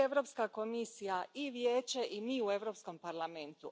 I Europska komisija, i Vijeće, i mi u Europskom parlamentu.